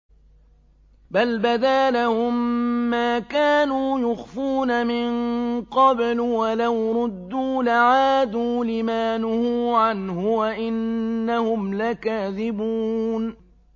بَلْ بَدَا لَهُم مَّا كَانُوا يُخْفُونَ مِن قَبْلُ ۖ وَلَوْ رُدُّوا لَعَادُوا لِمَا نُهُوا عَنْهُ وَإِنَّهُمْ لَكَاذِبُونَ